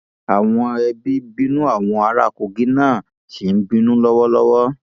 àwọn ẹbí bínú àwọn ará kogi náà ṣì ń bínú lọwọlọwọ